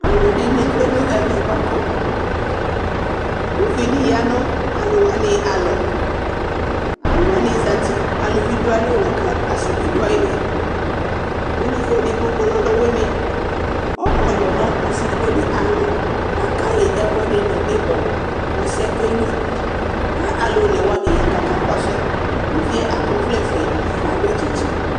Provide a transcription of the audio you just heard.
Ɔlʊ ɛdɩnɩ tsʊe nɛvɛ bʊakʊ ʊvɩ dɩ ƴa nʊ alʊ wanɩ alɔ Alʊ wanɩ zatɩ alʊvɩ nɩ dʊ aƴɩlɩ akasɩ nɩbɩ dʊ aƴɩlɩ Ʊlʊvɩ edɩgbo kɔlɛ ɔlʊwuɩnɩ ɔkɔlʊ nɔsɩ edɩgbo aƴalɔ kakaƴɩ ɛkʊɛdɩ nɩbɔ kɔsɩ yɛ keɣnua Kʊ onewa ya kakakɔsʊi Ʊvɩe akɔvlɛ fʊe kakɔ tsɩtsɩ